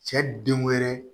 Cɛ den wɛrɛ